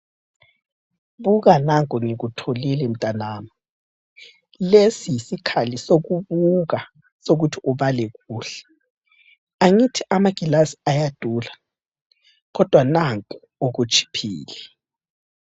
Buka nanko ngikutholile mtanami. Lesi yisikhali sokubuka sokuthi ubale kuhle .Angithi amagilasi ayadula kodwa nanko okutshiphile.